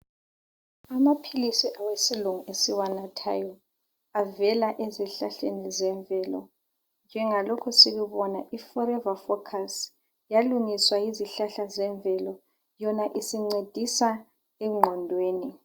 Amaphilisi awesilungu esiwanathayo avela ezihlahleni zemvelo. Njengalokhu sikubona iForever focus yalungiswa yizihlahla zemvelo. Yona isincedisa engqondweni.